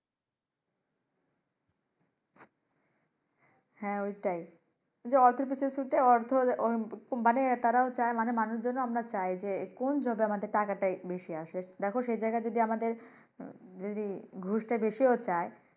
হ্যাঁ ঐটাই। এই যে অর্থের পিছে ছুটে অর্থ ঐ মানি আহ তারাও ছায় মানুষজন ও আমরা চাই যে কোন job এ আমাদের টাকা টা বেশি আসে দেখো সেই জায়গায় যদি আমাদের ঘুষ টা বেশি ও চায়